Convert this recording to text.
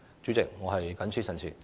主席，我謹此陳辭。